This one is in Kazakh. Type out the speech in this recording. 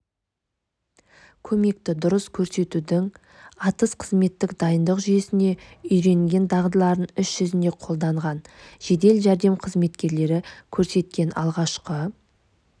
көмекті дұрыс көрсетуді атыс-қызметтік дайындық жүйесінде үйренген дағдыларын іс-жүзінде қолданған жедел жәрдем қызметкерлері көрсеткен алғашқы